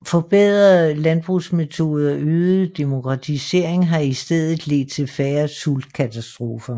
Forbedrede jordbrugsmetoder og øget demokratisering har i stedet ledt til færre sultkatastrofer